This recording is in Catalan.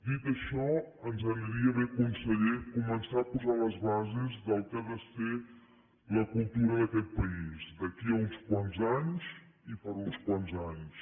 dit això ens aniria bé conseller començar a posar les bases del que ha de ser la cultura d’aquest país d’aquí a uns quants anys i per a uns quants anys